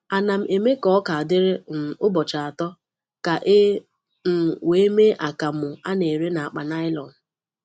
Ana m eme ka oka dịrị um ụbọchị atọ ka e um wee mee akamu a na-ere n’akpa nylon.